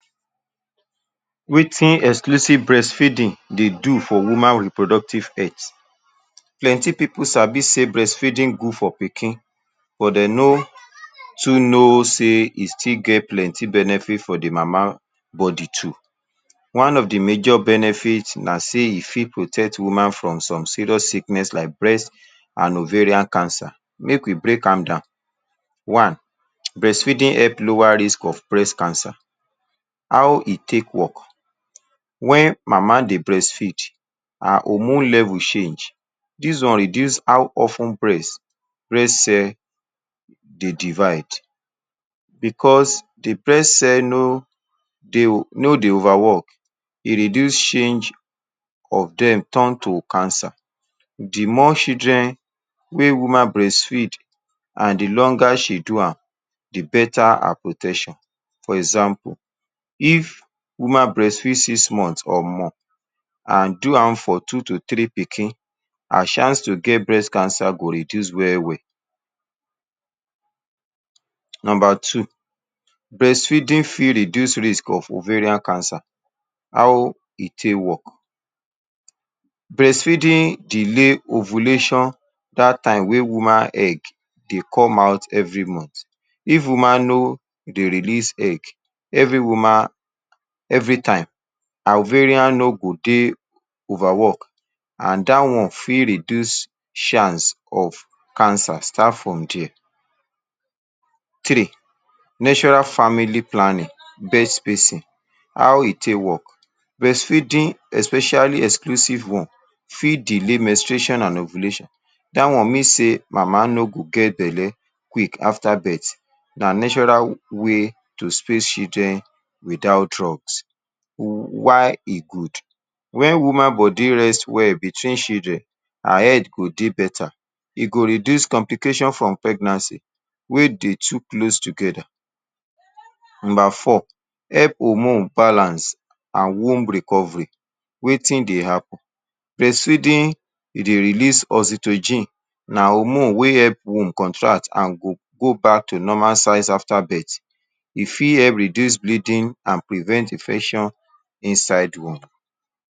Wetin exclusive breastfeeding dey do for woman reproductive health plenty pipu sabi sey breastfeeding good for pikin but dem no too know sey e still get plenty benefit for de mama body too one of de major benefits na sey e fit protect woman from some serious sickness like breast and ovarian cancer make we break am down one breastfeeding help lower risk of breast cancer how e take work wey mama dey breastfeed her hormone level change this one reduce how of ten breast, breast cell dey divide because de breast cell no dey no dey over work e reduce change of dem turn to cancer de more children wey woman breastfeed and de longer she do am de beta her protection for example if woman breast feed six months or more and do am for two to three pikin her chance to get breast cancer go reduce well well number two breastfeeding fit reduce risk of ovarian cancer how e take work breastfeeding delay ovulation that time wey woman egg dey come out every month if woman no dey release egg every woman every time her ovarian no go dey over worked and that one for reduce chance for cancer start from there. three natural family planning fair spacing how e take work breastfeeding especially exclusive one fit delay menstruation and ovulation that one means sey mama no go get belle quick after birth na natural way to space children without drugs why e good when woman body rest well between children her head go dey beta e go reduce complications from pregnancy wey dey too lose togeda number four help hormone balance and womb recovery wetin dey happen breastfeeding e dey release oestrogen na hormone wey help womb contract and go back to normal size after birth e fit wh reduce bleeding and prevent infection inside womb.